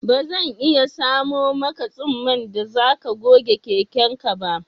Bazan iya samo maka tsumman da zaka goge keken ka ba